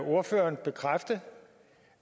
ordføreren der